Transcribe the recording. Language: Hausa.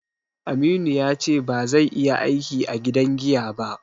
Aminu ya ce ba zai iya aiki a gidan giya ba